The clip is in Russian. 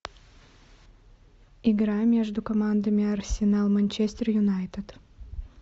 игра между командами арсенал манчестер юнайтед